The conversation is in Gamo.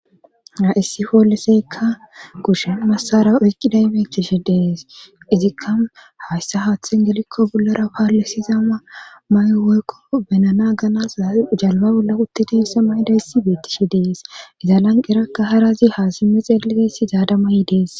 Ha issi fooleseykka kushe massara oyqqidaymetishi dees izikka hayssa haaththe gelikko bollara paalisizama may'o woykko benana ganas jalba bolla utti deessa mayda issi beettishi dees izalanqerakka harazi ha simme xeeligeessi zaada mayi dees.